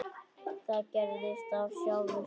Það gerðist af sjálfu sér.